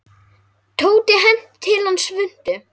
Tóti henti til hans svuntu.